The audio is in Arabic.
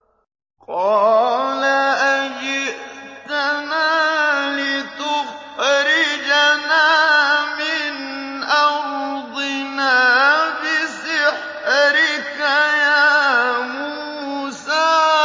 قَالَ أَجِئْتَنَا لِتُخْرِجَنَا مِنْ أَرْضِنَا بِسِحْرِكَ يَا مُوسَىٰ